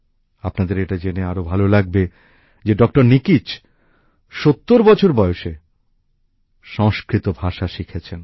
আপনাদের এটা জেনে আরো ভালো লাগবে যে ডক্টর নিকিচ ৭০ বছর বয়সে সংস্কৃত ভাষা শিখেছেন